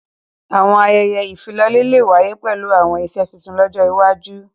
Àwọn àyẹyẹ ifilọlẹ le wàye pẹlu àwọn iṣe tuntun lọjọ iwaju.